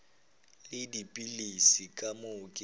le dipilisi ka moo ke